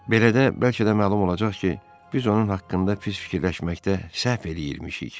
Belə də, bəlkə də məlum olacaq ki, biz onun haqqında pis fikirləşməkdə səhv eləyirmişik.